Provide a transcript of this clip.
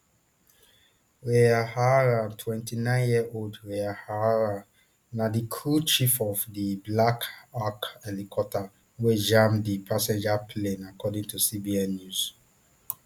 ryan ohara twenty-nineyearold ryan ohara na di crew chief of di black hawk helicopter wey jam di passenger plane according to cbs news